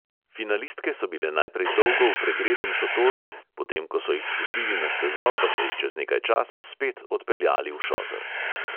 Finalistke so bile najprej dolgo v pregretem šotoru, potem ko so jih spustili na stezo, pa so jih čez nekaj časa spet odpeljali v šotor.